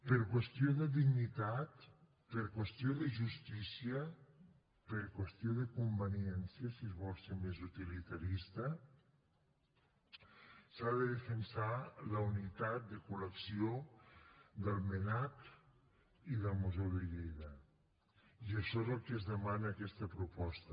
per qüestió de dignitat per qüestió de justícia per qüestió de conveniència si es vol ser més utilitarista s’ha de defensar la unitat de col·lecció del mnac i del museu de lleida i això és el que es demana en aquesta proposta